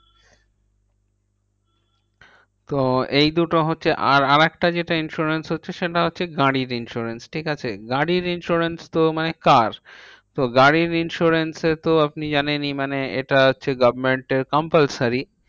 তো এই দুটো হচ্ছে, আর আরেকটা যেটা insurance হচ্ছে সেটা হচ্ছে গাড়ির insurance. ঠিকাছে? গাড়ির insurance তো মানে car. তো গাড়ির insurance এ তো আপনি জানেনই, মানে এটা হচ্ছে government এর compulsory.